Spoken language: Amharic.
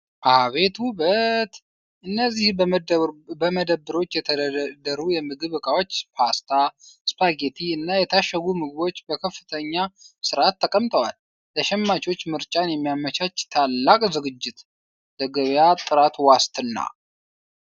አቤት ውበት! እነዚህ በመደብሮች የተደረደሩ የምግብ እቃዎች! ፓስታ፣ ስፓጌቲ እና የታሸጉ ምግቦች በከፍተኛ ሥርዓት ተቀምጠዋል። ለሸማቾች ምርጫን የሚያመቻች ታላቅ ዝግጅት! ለገበያ ጥራት ዋስትና!